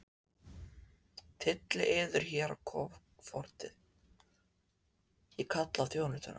Tyllið yður hér á kofortið, ég kalla á þjónustuna.